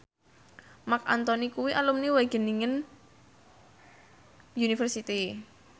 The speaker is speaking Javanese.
Marc Anthony kuwi alumni Wageningen University